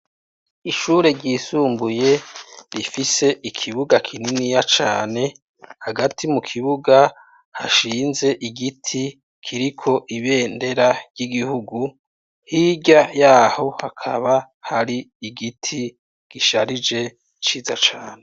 Ishure ryisumbuye rifise ikibuga kininiya cane, hagati mukibuga hashinze igiti kiriko ibendera ry’igihugu, hirya yaho hakaba har’igiti gisharije ciza cane.